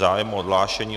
Zájem o odhlášení.